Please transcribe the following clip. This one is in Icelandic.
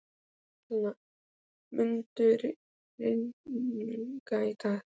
Alanta, mun rigna í dag?